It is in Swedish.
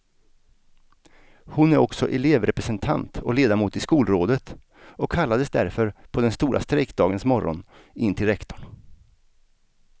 Hon är också elevrepresentant och ledamot i skolrådet och kallades därför på den stora strejkdagens morgon in till rektorn.